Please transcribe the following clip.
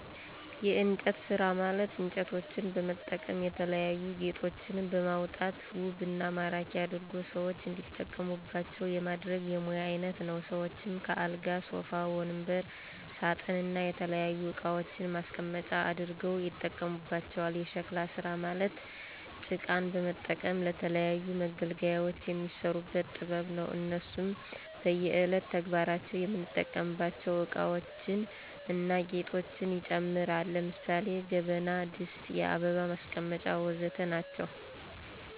የእንጨት ስራ ማለት እንጨቶችን በመጠቀም የተለያዩ ጌጦችን በማውጣት ውብ እና ማራኪ አድርጎ ሰዎች እንዲጠቀሙባቸው የማድረግ የሙያ አይነት ነው። ሰዎችም ከአልጋ ሶፋ ወንበር ሳጥን እና የተለያዩ እቃዋችን ማስቀመጫ አድርገው ያጠቀሙባቸዋል። የሸክላ ስራ ማለት ጭቃን በመጠቀም ለተለያዩ መገልገያዎች የሚሰሩበት ጥበብ ነው። እነሱም በእየለት ተግባራችን የምንጠቀምባቸው እቃዎችን እና ጌጦችን ይጨምራል። ለምሳሌ ጀበና ድስት የአበባ ማስቀመጫ ወዘተ ናቸው